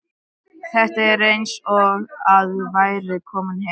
Þetta er eins og að vera kominn heim.